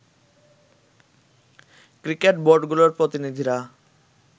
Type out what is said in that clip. cricket বোর্ডগুলোর প্রতিনিধিরা